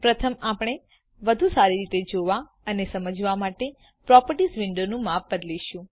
પ્રથમ આપણે વધુ સારી રીતે જોવા અને સમજવા માટે પ્રોપર્ટીઝ વિન્ડોનું માપ બદલીશું